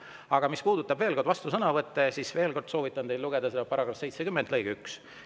Aga mis puudutab vastusõnavõtte, siis veel kord soovitan teil lugeda § 70 lõiget 1.